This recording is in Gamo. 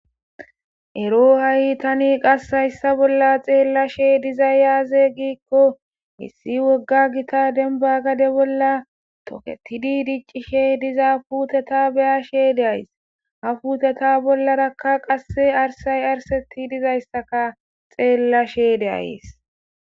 ero ha7i tani qas hayssa bolla xeella she dizay yaaze giikko hissi wogga gita denba gade bolla toketi di dicci she diza puuteta beya sheede ays ha puuteta bollarakka qasse arsay arseti dizayssaka xeella sheede ays